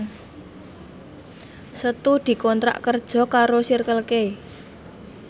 Setu dikontrak kerja karo Circle K